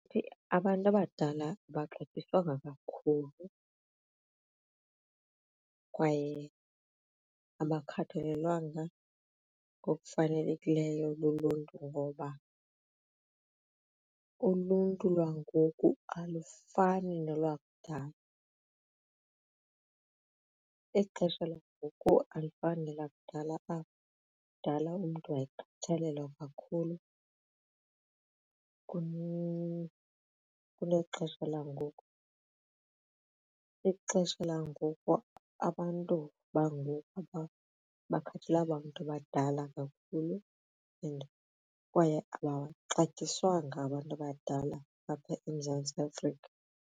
Abantu abadala abaxatyiswanga kakhulu kwaye abakhathalelwanga ngokufanelekileyo luluntu ngoba uluntu lwangoku alufani nolwakudala. Ixesha langoku alifani nelakudala apho kudala umntu wayekhathalelwa kakhulu kunexesha langoku. Ixesha langoku abantu bangoku abakhathalelanga bantu badala kakhulu and kwaye abaxatyiswanga abantu abadala apha eMzantsi Afrika.